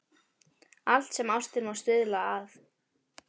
Allt sem ástin má stuðla að.